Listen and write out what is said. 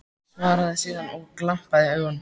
Svaraði síðan, og var glampi í augunum: